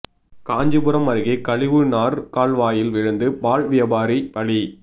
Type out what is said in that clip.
காஞ்சிபுரம் அருகே கழிவு நார் கால்வாயில் விழுந்து பால் வியாபாரி பலி